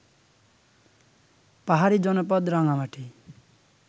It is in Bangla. পাহাড়ি জনপদ রাঙামাটি